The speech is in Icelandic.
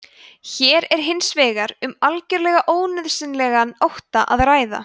hér er hins vegar um algjörlega ónauðsynlegan ótta að ræða